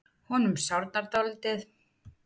Honum sárnar dálítið.